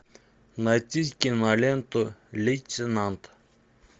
найти киноленту лейтенант